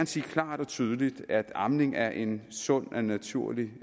sige klart og tydeligt at amning er en sund og naturlig